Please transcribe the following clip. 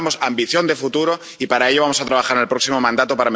Necesitamos ambición de futuro, y para ello vamos a trabajar en el próximo mandato.